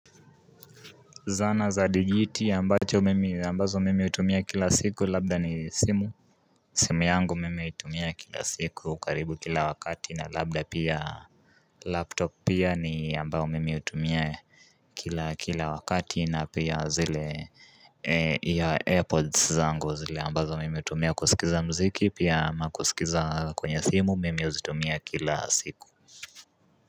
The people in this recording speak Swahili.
Zana za digit yambazo mime utumia kila siku labda ni simu simu yangu mime utumia kila siku ukaribu kila wakati na labda pia laptop pia ni ambazo mimi utumia kila wakati na pia zile ya AirPods zangu zile ambazo mimi utumia kusikiza mziki pia makusikiza kwenye simu mime uzitumia kila siku.